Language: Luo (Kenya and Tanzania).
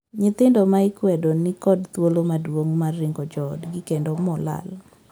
Nyithindo ma ikwedo nikod thuolo maduong' mar ringo joodgi kendo molal.